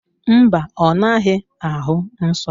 Mba, ọ naghị ahụ nsọ.